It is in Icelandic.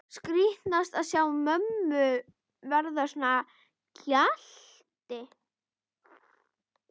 Skrítnast að sjá mömmu verða að gjalti.